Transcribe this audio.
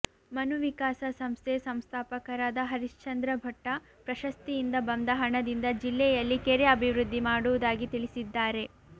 ಮನುವಿಕಾಸ ಸಂಸ್ಥೆ ಸಂಸ್ಥಾಪಕರಾದ ಹರಿಶ್ಚಂದ್ರ ಭಟ್ಟ ಪ್ರಶಸ್ತಿಯಿಂದ ಬಂದ ಹಣದಿಂದ ಜಿಲ್ಲೆಯಲ್ಲಿ ಕೆರೆ ಅಭಿವೃದ್ಧಿ ಮಾಡುವುದಾಗಿ ತಿಳಿಸಿದ್ದಾರೆ